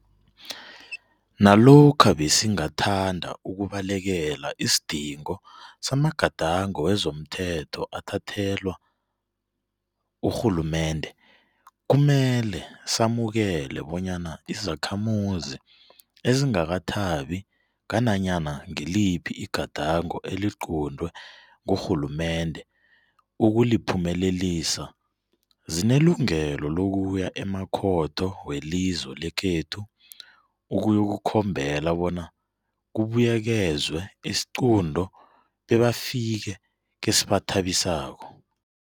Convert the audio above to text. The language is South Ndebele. Nalokha besingathanda ukubalekela isidingo samagadango wezomthetho athathelwa urhulumende, kumele samukele bonyana izakhamuzi ezingakathabi ngananyana ngiliphi igadango eliquntwe ngurhulumende ukuliphumelelisa zinelungelo lokuya emakhotho welizwe lekhethu ukuyokukhombela bona kubuyekezwe isiqunto bebafike kesibathabisako.